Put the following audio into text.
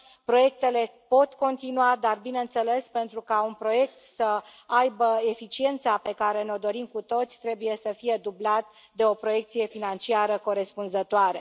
Proiectele pot continua, dar, bineînțeles, pentru ca un proiect să aibă eficiența pe care ne o dorim cu toții, trebuie să fie dublat de o proiecție financiară corespunzătoare.